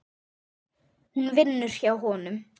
Hún vinnur hjá honum.